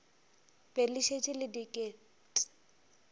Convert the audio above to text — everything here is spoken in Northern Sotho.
be le šetše le diket